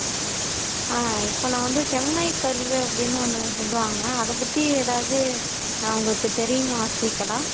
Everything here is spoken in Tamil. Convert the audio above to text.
ஆஹ் இப்ப நான் வந்து செம்மை கரும்பு அப்பிடின்னு ஒன்னு சொல்லுவாங்க அத பத்தி எதாவது ஆஹ் உங்களுக்கு தெரியுமா ஸ்ரீகலா